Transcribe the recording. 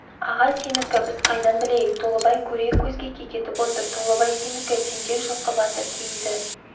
аға сенікі біз қайдан білейік толыбай көре көзге кекетіп отыр толыбай сенікі тентек жылқы батыр кейіді